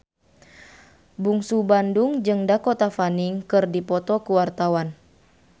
Bungsu Bandung jeung Dakota Fanning keur dipoto ku wartawan